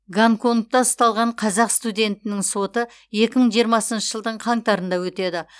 гонконгта ұсталған қазақ студентінің соты екі мың жиырмасыншы жылдың қаңтарында өтеді